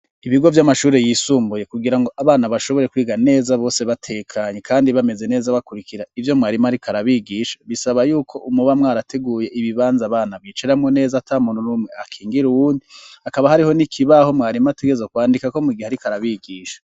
ibigo vy'amashuri yisumbuye kugirango abana bashobore kwiga neza bose batekanye kandi bameze neza bakurikira ivyo mwarimo arikarabigisha bisaba yuko umubamwe arateguye ibibanza bana biciramo neza atamuntu n'umwe akingire uwundi akaba hariho n'ikibaho mwarimo atigezo kwandikako mu gihe arikarabigisha